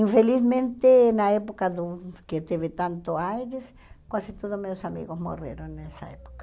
Infelizmente, na época do que teve tanto AIDS, quase todos meus amigos morreram nessa época.